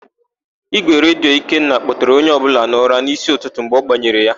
Ígwèredio Ikenna kpọtere onye ọbụla n'ụra n'ísí ụtụtụ mgbe ọ gbanyere ya.